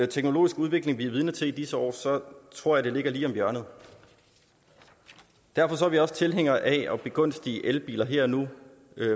teknologiske udvikling vi er vidne til i disse år tror jeg det ligger lige om hjørnet derfor er vi også tilhængere af at begunstige elbiler her og nu